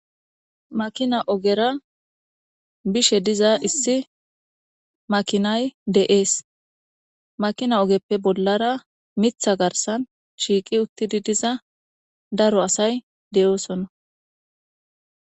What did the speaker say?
Makina ogera bishe diza issi makinay de7ees makina ogeppe bollara mitha garsan shiiqi uttidi diza daro asay de7oosona.